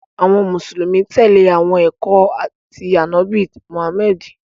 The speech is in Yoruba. Awọn Musulumi tẹle awọn ẹkọ ti Anabi Muhammad.